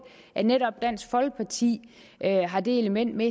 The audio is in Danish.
at netop dansk folkeparti har det element med